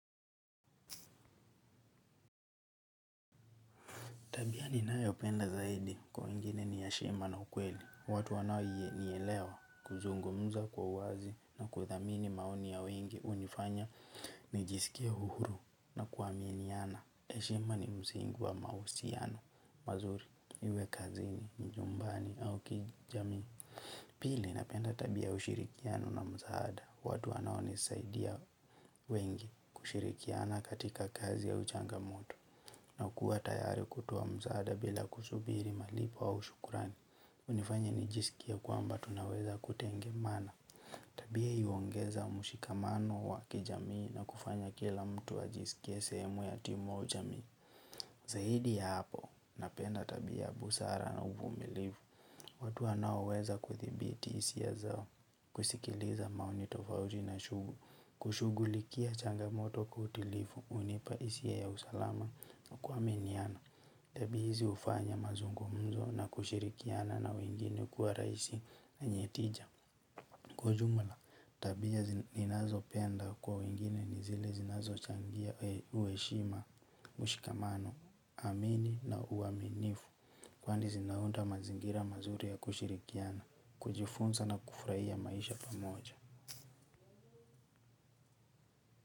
Tabia ni nayopenda zaidi kwa wengine ni heshima na ukweli. Watu wanao nielewa kuzungumza kwa uwazi na kuthamini maoni ya wengi hunifanya. Nijisikie uhuru na kuaaminiana. Heshima ni msingi wa mahusiano, mazuri, iwe kazini, nyumbani au kijamii. Pili napenda tabia ya ushirikiano na msaada. Watu wanao nisaidia wengi kushirikiana katika kazi ya uchanga mtu. Na kuwa tayari kutoa msaada bila kusubiri malipo au shukurani hunifanya ni jisikie kwamba tunaweza kutengemana. Tabia hii huongeza mushikamano wa kijamii na kufanya kila mtu ajisikie sehemu ya timu au jamii. Zaidi ya hapo napenda tabia busara na uvumilivu. Watu wanaowaweza kuthibiti hisia zao kusikiliza maoni tofauti na shugu. Kushughulikia changamoto kwa utulivu hunipa hisia ya usalama na kuaminiana. Tabia hizi hufanya mazungumzo na kushirikiana na wengine kuwa rahisi na yenye tija. Kwa ujumula tabia ninazopenda kwa wengine ni zile zinazo changia uheshima ushikamano naamini na uaminifu. Kwani zinaunda mazingira mazuri ya kushirikiana kujifunza na kufurahia maisha pamoja.